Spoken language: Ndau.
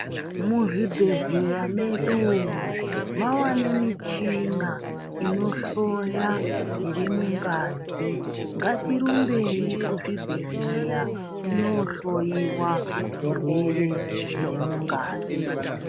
Muzvibhedhlera mwedu umwo mava nemichina inohloya zvirimungazi. Ngatirumbei kuzvibhadhlera tinohloiwa zvirwere zviri mungazi.